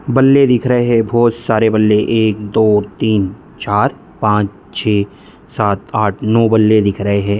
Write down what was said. बल्ले दिख रहे है बहुत सारे बल्ले एक दो तीन चार पांच छे सात आठ नौ बल्ले दिख रहे है।